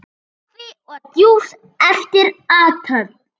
Kaffi og djús eftir athöfn.